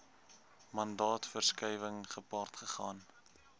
mandaatverskuiwing gepaard gegaan